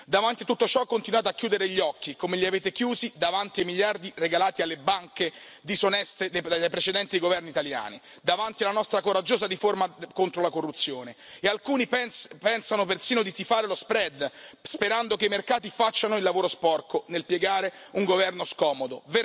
Davanti a tutto ciò continuate a chiudere gli occhi, come li avete chiusi davanti ai miliardi regalati alle banche disoneste dai precedenti governi italiani, davanti alla nostra coraggiosa riforma contro la corruzione, e alcuni pensano persino di tifare per lo spread sperando che i mercati facciano il lavoro sporco nel piegare un governo scomodo.